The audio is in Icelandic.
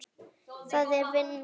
Það er vinnan.